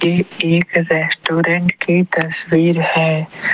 ये एक रेस्टोरेंट की तस्वीर है।